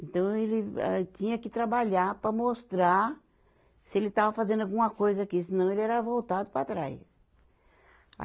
Então, ele vai tinha que trabalhar para mostrar se ele estava fazendo alguma coisa aqui, senão ele era voltado para trás. a